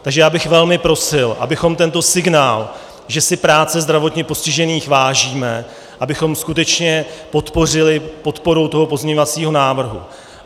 Takže já bych velmi prosil, abychom tento signál, že si práce zdravotně postižených vážíme, abychom skutečně podpořili podporou toho pozměňovacího návrhu.